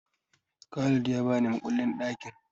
Khalid ya ni makullin ɗakin.